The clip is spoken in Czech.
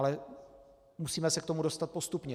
Ale musíme se k tomu dostat postupně.